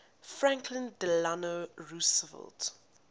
franklin delano roosevelt